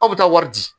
Aw bɛ taa wari di